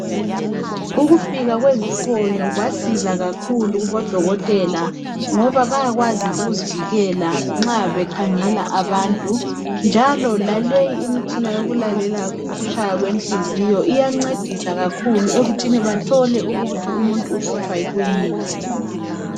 Ukufika kwezifonyo kwasiza kakhulu kubodokotela ngoba bayakwazi ukuzivikela nxa bekhangela abantu , njalo laleyi imitshina yokulalela ukutshaya kwenhliziyo iyancedisa kakhulu ekuthini bathole ukuthi umuntu uhlutshwa yikuyini.